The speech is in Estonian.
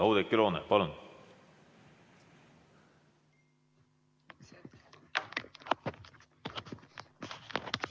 Oudekki Loone, palun!